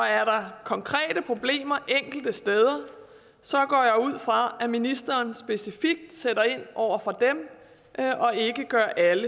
er der konkrete problemer enkelte steder så går jeg ud fra at ministeren specifikt sætter ind over for dem og ikke gør alle